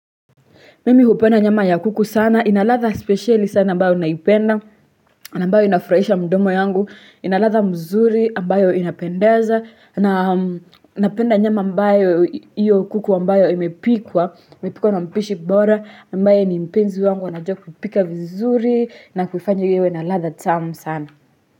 Mimi hupenda nyama ya kuku sana, inalatha speciali sana ambao naipenda, ambayo inafraisha mdomo yangu, inalatha mzuri ambayo inapendeza, na napenda nyama ambayo iyo kuku ambayo imepikwa, imepikwa na mpishi bora, ambaye ni mpenzi wangu anajua kupika vizuri na kufanywa iwe naladha tamu sana.